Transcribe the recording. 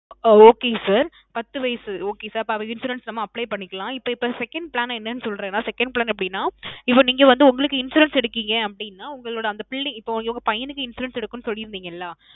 ஆ. Okay sir. பத்து வயசு Okay sir. அப்ப அவருக்கு insurance நம்ம apply பண்ணிக்கலாம். இப்போ இப்போ second plan என்னனு சொல்றேன், நான் second plan எப்பிடின்னா, இப்போ நீங்க வந்து உங்களுக்கு insurance எடுக்குறீங்க அப்பிடின்னா உங்களோட அந்த பிள்ள இப்போ உங்களோட பையனுக்கு insurance எடுக்கணும்னு சொல்லி இருந்தீங்கள்ல